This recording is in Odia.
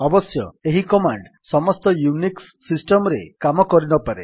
ଅବଶ୍ୟ ଏହି କମାଣ୍ଡ୍ ସମସ୍ତ ୟୁନିକ୍ସ୍ ସିଷ୍ଟମ୍ ରେ କାମ କରିନପାରେ